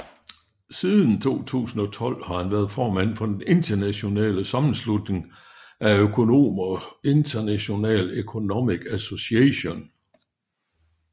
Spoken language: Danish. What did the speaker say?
Siden 2012 har han været formand for den internationale sammenslutning af økonomer International Economic Association